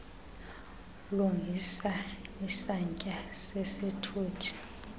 lungisa isantya sesithuthi